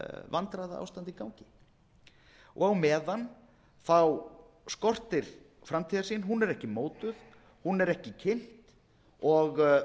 vandræðaástand í gangi á meðan skortir framtíðarsýn hún er ekki mótuð hún er ekki kynnt og